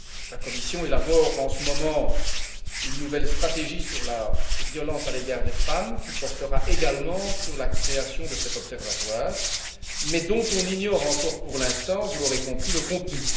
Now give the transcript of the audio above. La Commission élabore, en ce moment, une nouvelle stratégie sur la violence à l'égard des femmes, qui portera également sur la création de cet observatoire, mais dont on ignore encore pour l'instant vous l'aurez compris le contenu.